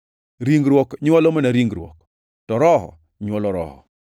Ringruok nywolo mana ringruok, to Roho nywolo roho.